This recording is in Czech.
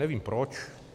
Nevím proč.